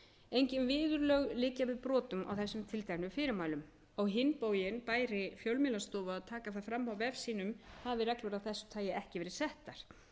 engin viðurlög liggja við brotum á þessum tilteknu fyrirmælum á hinn bóginn bæri fjölmiðlastofu að taka það fram á vef sínum hafi reglur af þessu tagi ekki verið settar